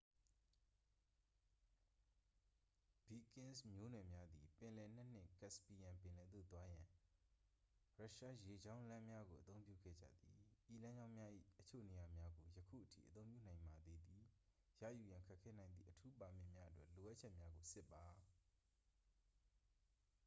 ဗီကင်းစ် မျိုးနွယ်များသည် ပင်လယ်နက်နှင့် caspian ပင်လယ်သို့ သွားရန် ရုရှားရေကြောင်းလမ်းများကို အသုံးပြုခဲ့ကြသည် ဤလမ်းကြောင်းများ၏ အချို့နေရာများကို ယခုအထိ အသုံးပြုနိုင်ပါသေးသည် ရယူရန် ခက်ခဲနိုင်သည့် အထူးပါမစ်များအတွက် လိုအပ်ချက်များကို စစ်ပါ